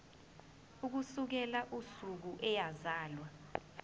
ukusukela usuku eyazalwa